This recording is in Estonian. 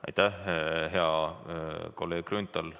Aitäh, hea kolleeg Grünthal!